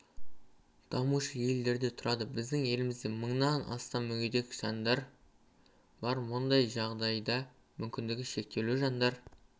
дамушы елдерде тұрады біздің елімізде мыңнан астам мүгедек жандар бар мұндай жағдайда мүмкіндігі шектеулі жандар